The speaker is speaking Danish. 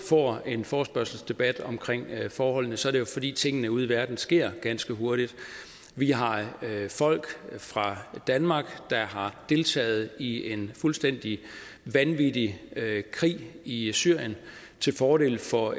får en forespørgselsdebat omkring forholdene så er det jo fordi tingene ude i verden sker ganske hurtigt vi har folk fra danmark der har deltaget i en fuldstændig vanvittig krig i i syrien til fordel for